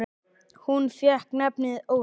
Hún fékk nafnið Ósk.